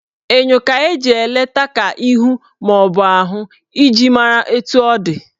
Enyo ka eji eleta ka ihu maọbụ ahụ iji mara etu ọ dị